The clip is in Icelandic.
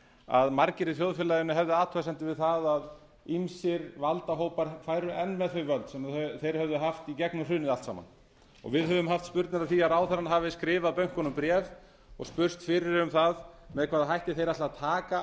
að margir í þjóðfélaginu hefðu athugasemdir við það að margir valdahópar færu enn með þau völd sem þeir hefðu haft í gegnum hrunið allt saman við höfum haft spurnir af því að ráðherrann hafi skrifað bönkunum bréf og spurst fyrir um það með hvaða hætti þeir ætli að taka